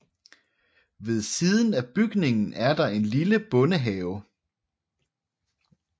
Ved siden af bygningen er der en lille bondehave